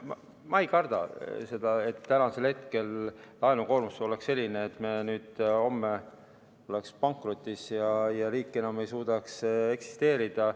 Ma ei karda seda, et täna oleks laenukoormus selline, et me homme oleksime pankrotis ja riik enam ei suudaks eksisteerida.